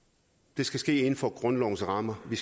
det skal ske inden for grundlovens rammer vi